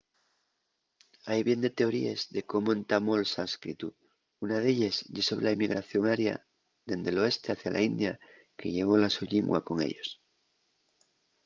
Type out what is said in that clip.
hai bien de teoríes de cómo entamó’l sánscritu. una d’elles ye sobre la emigración aria dende l’oeste hacia la india que llevó la so llingua con ellos